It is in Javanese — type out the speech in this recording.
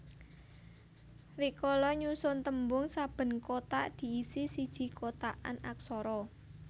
Rikala nyusun tembung saben kotak diisi siji kotakan aksara